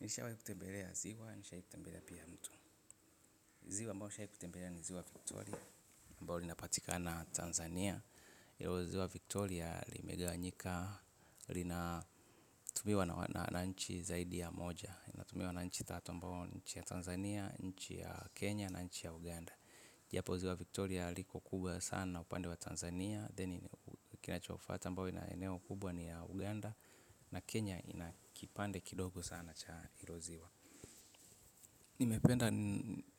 Nishawahi kutembelea ziwa, nishawahi kutembelea pia mto. Ziwa mbayo nishawahi kutembelea ni ziwa Victoria, mbalo linapatika Tanzania. Hilo ziwa Victoria limeganyika, linatumiwa na nchi zaidi ya moja. Inatumiwa na nchi tatu mbayo ni nchi ya Tanzania, nchi ya Kenya na nchi ya Uganda. Japo ziwa Victoria liko kubwa sana upande wa Tanzania. Then kinachofuata mbao inaneo kubwa ni ya Uganda na Kenya inakipande kidogo sana cha hilo ziwa. Ni mependa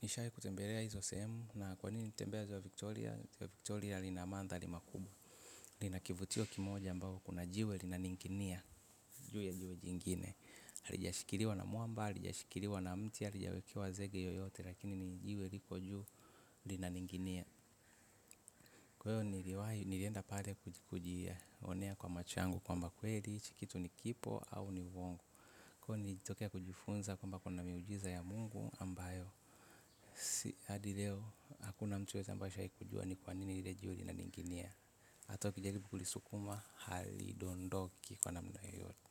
nishai kutembelea hizo sehemu na kwa nini nilitembea ziwa Victoria Victoria lina mandhari makubwa. Lina kivutio kimoja mbao kuna jiwe lina ning'inia. Juu ya jiwe jingine halijashikiliwa na mwamba, halijashikiliwa na mti, halijawekewa zege yoyote. Lakini ni jiwe liko juu linaning'inia kwahiyo niliwahi nilienda pale kujionea kwa macho yangu kwamba kweli hichi kitu ni kipo au ni uongo kwa hiyo nilitokea kujifunza kwamba kuna miujiza ya Mungu ambayo hadil eo, hakuna mtu yeyote ambae ashawahi kujua ni kwa nini lile jiwe lina ning'inia hata ukijaribu kulisukuma, halidondoki kwa namna yoyote.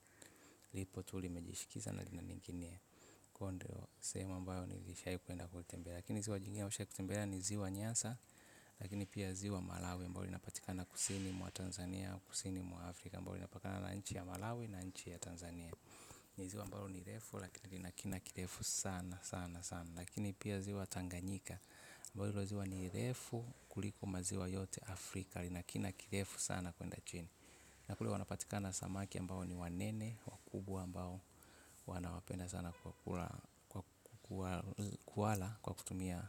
Lipo tulimejishikiza na lina ning'inia kwa hiyo ndio sehemu ambayo nilisha wahi kwenda kulitembea. Lakini ziwa jingine nishawai kutembelea ni ziwa nyasa. Lakini pia ziwa malawi mbao linapatika na kusini mwa Tanzania. Kusini mwa Afrika mbao linapakana na nchi ya malawi na nchi ya Tanzania. Ni ziwa mbalo ni refu lakini lina kina kirefu sana sana sana. Lakini pia ziwa tanganyika ambalo hilo ziwa ni refu kuliko maziwa yote Afrika. Lina kina kirefu sana kwenda chini. Nakule wanapatika na samaki ambao ni wanene. Wakubwa ambao huwa na wapenda sana kuwala kwa kutumia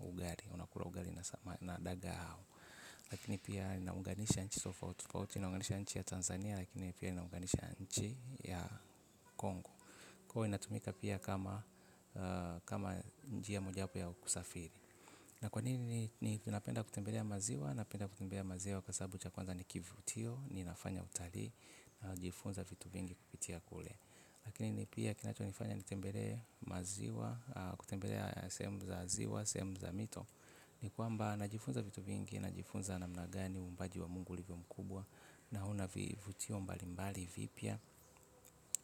ugali unakula ugali na dagaa au lakini pia inaunganisha nchi tofauti tofauti inaunganisha nchi ya Tanzania na pia inaunganisha nchi ya kwa hiyo inatumika kama njia moja wapo wa kusafiri kwa nini napenda kutembelea maziwa, napendakutembea maziwa kwa sababu cha kwanza ni kivutio ninafanya utalii, ninajifunza vitu vingi kutoka kule laakini pia kilicho nifanya nitembelee maziwa kutembelea sehemu za ziwa, sehemu za mito. Ni kwamba najifunza vitu vingi, najifunza na mna gani umbaji wa mungu ulivyo mkubwa. Na una vutio mbalimbali mpya.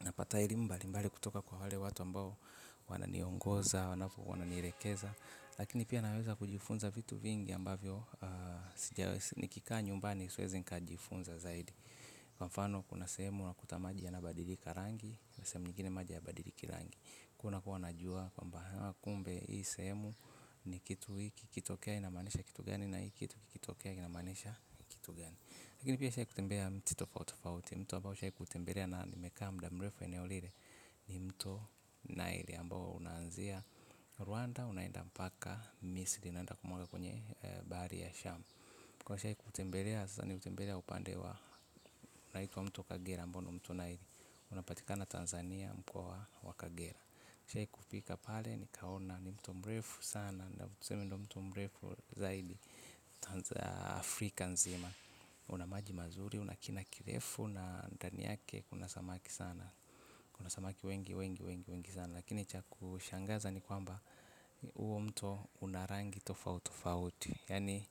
Napata elimu mbalimbali kutoka kwa wale watu ambao wananiongoza, wananielekeza. Lakini pia naweza kujifunza vitu vingi ambavyo nikikaa nyumbani siwezi nka jifunza zaidi. Kwa mfano kuna sehemu unakuta maji ya nabadilika rangi. Na sehemu ingine maji haya badiliki rangi. Kuna kuwa najua kwamba hawa kumbe hii sehemu ni kitu hiki ikitokea inamaanisha ni kitu gani, lakini pia nimeshawai kutembelea mito tofauti tofauti, mto ambayo nimewahi tembelea na nimekaa kwa mdu mrefu eneo ile. Ni mto nile ambao unanzia Rwanda unaenda mpaka misri unaenda kumwaga kwenye bahari ya sham. Kwa nishai kutembelea, sasa nimetembelea upande wa inaitwa mto kagera ambao ni mto nile. Unapatikana Tanzania mkoa wa kagera nishai kufika pale ni kaona ni mto mrefu sana. Na tuseme ndio mto mrefu zaidi Afrika nzima. Una maji mazuri, una kina kirefu na ndani yake kuna samaki sana. Kuna samaki wengi wengi wengi wengi sana. Lakini cha kushangaza ni kwamba huo mto una rangi tofautofauti. Yaani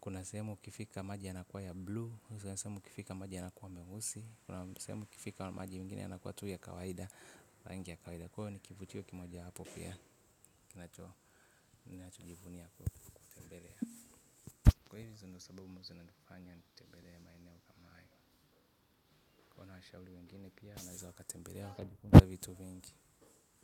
kuna sehemu ukifika maji yanakuwa ya buluu. Kuna sehemu ukifika maja yanakuwa meusi. Kuna sehemu ukifika maji mengine yanakuwa tu ya kawaida. Kwa hiyo ni kivutio kimoja wapo pia. Kina chojivunia y kutembelea. Kwa hivo hizi ndio sababu ambazo inanifanya nitembelee maeneo kama haya kwa waashauri wengine pia naweza wakatembelea wakajifunza vitu vengi.